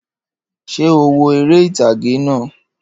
Ṣé o wo eré ìtàgé náà?